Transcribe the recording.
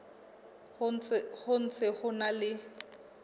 ho ntse ho na le